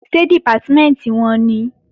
Ṣé Dìpátímẹ̀ntì wọn nìí?